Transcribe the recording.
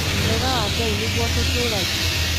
Wega wa Ngai nĩguo ũtũtũragia.